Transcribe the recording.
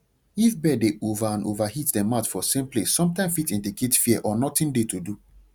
if bird dey over and over hit dem mouth for same place sometim fit indicate fear or nothing dey to do